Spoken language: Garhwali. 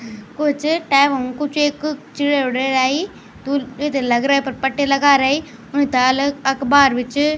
कुछ टाइम हमकू च एक चिड़िया उडेराई टू इथे लग रा पर पट्टी लगा रईउन ताल अखबार भी च।